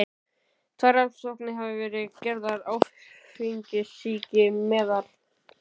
Tvær rannsóknir hafa verið gerðar á áfengissýki meðal